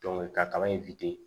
ka kaba in